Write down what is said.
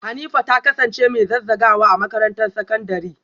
Hanifa ta kasance mai zazzagawa a makarantar sakandare?